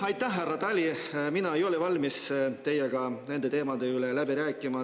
Ei, aitäh, härra Tali, mina ei ole valmis teiega nende teemade üle läbi rääkima.